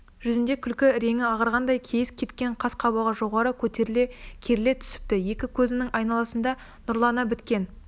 жүзінде күлкі іреңі ағарғандай кейіс кеткен қас-қабағы жоғары көтеріле керіле түсіпті екі көзінің айналасында нұрлана біткен